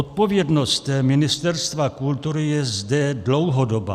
Odpovědnost Ministerstva kultury je zde dlouhodobá.